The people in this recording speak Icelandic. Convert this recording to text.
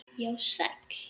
Já, sæl.